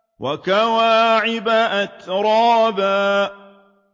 وَكَوَاعِبَ أَتْرَابًا